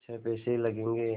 छः पैसे लगेंगे